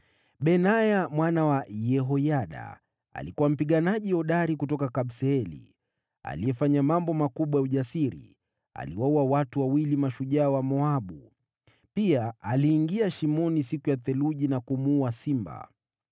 Benaya, mwana wa Yehoyada alikuwa mpiganaji hodari kutoka Kabseeli ambaye alifanya mambo makubwa ya ujasiri. Aliwaua mashujaa wawili waliokuwa hodari kuliko wote wa Moabu. Pia alishuka shimoni kulipokuwa na theluji na kumuua simba.